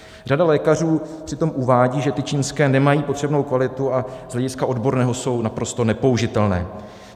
Řada lékařů přitom uvádí, že ty čínské nemají potřebnou kvalitu a z hlediska odborného jsou naprosto nepoužitelné.